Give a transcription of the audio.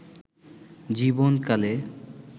জীবন কালে